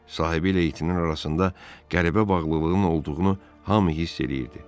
Sahibi ilə itinin arasında qəribə bağlılığın olduğunu hamı hiss eləyirdi.